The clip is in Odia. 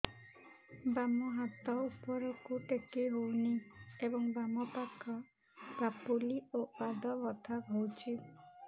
ବାମ ହାତ ଉପରକୁ ଟେକି ହଉନି ଏବଂ ବାମ ପାଖ ପାପୁଲି ଓ ପାଦ ବଥା ହଉଚି